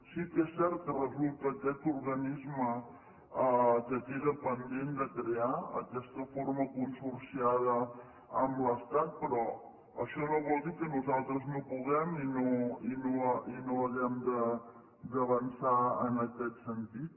sí que és cert que resulta aquest organisme que queda pendent de crear aquesta forma consorciada amb l’estat però això no vol dir que nosaltres no puguem i no hàgim d’avançar en aquest sentit